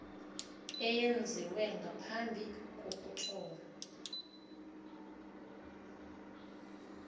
eyenziwe ngaphambi kokuthoma